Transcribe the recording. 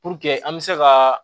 Puruke an bɛ se ka